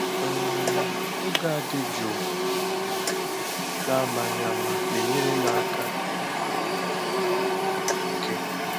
um Oge a dị jụụ um n’amaghị ama na-enyèrè m aka izu um íké